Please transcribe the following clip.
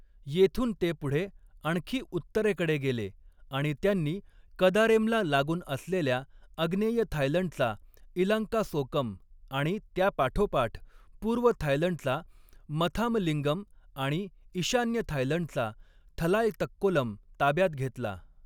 येथून ते पुढे आणखी उत्तरेकडे गेले आणि त्यांनी कदारेमला लागून असलेल्या आग्नेय थायलंडचा इलांकासोकम आणि त्यापाठोपाठ पूर्व थायलंडचा मथामलिंगम आणि ईशान्य थायलंडचा थलायतक्कोलम ताब्यात घेतला.